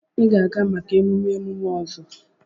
Ị ga-aga maka emume emume ọzọ!